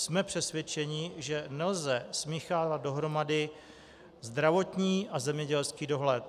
Jsme přesvědčeni, že nelze smíchávat dohromady zdravotní a zemědělský dohled.